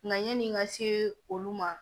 Nka yanni n ka se olu ma